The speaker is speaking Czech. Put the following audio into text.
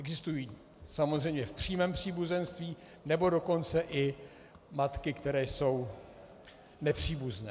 Existují samozřejmě v přímém příbuzenství, nebo dokonce i matky, které jsou nepříbuzné.